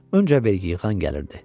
Öncə vergi yığan gəlirdi.